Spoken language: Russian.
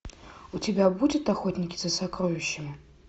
у тебя будет охотники за сокровищами